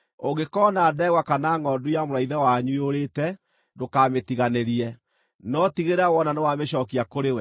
Ũngĩkoona ndegwa kana ngʼondu ya mũrũ wa ithe wanyu yũrĩte, ndũkamĩtiganĩrie, no tigĩrĩra wona nĩwamĩcookia kũrĩ we.